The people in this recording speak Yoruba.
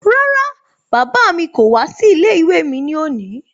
Rárá, bàbá mi kò wá sí ilé-ìwé mi ní òní.